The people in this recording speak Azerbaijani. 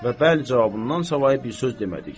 Və bəli cavabından savayı bir söz demədik.